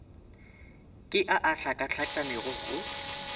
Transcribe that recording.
ke a a hlakahlakanego go